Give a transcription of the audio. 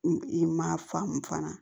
I ma faamu fana